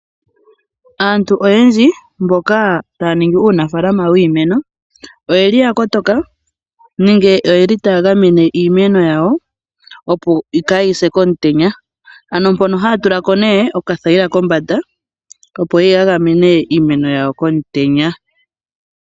Aantu oyendji mboka taya ningi uunafalama wiimeno, oyeli ya kotoka, nenge oyeli taya gamene iimeno yawo, opo kaa yise komutenya. Ano mpono haya tulapo nee oka thayila kombanda, opo ya gamene iimeno yawo komutenya.